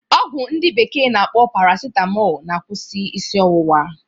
Ọgwụ ndi bekee na-akpọ parasitamọl na-akwụsị isi ọwụwa